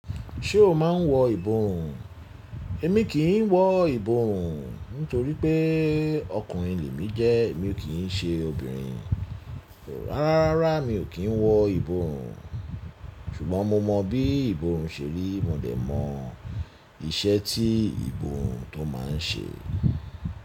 Ṣé o máa ń wọ ìboùn? Èmi kì í wọ ìboùn, nítorí pé ọkùnrin lemí jẹ́, èmi ò kí n ṣe obìnrin. Rárá, rárá mi ò kí ń wọ ìboùn, ṣùgbọ́n mo mọ bí ìboùn ṣe rí, mo dẹ̀ mọ iṣẹ́ tí ìbùùn tó máa ń ṣe.